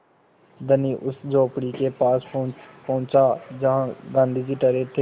धनी उस झोंपड़ी के पास पहुँचा जहाँ गाँधी जी ठहरे थे